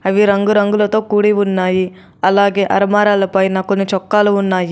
అవి రంగురంగులతో కూడి ఉన్నాయి అలాగే అర్మారాల పైన కొన్ని చొక్కాలు ఉన్నాయి.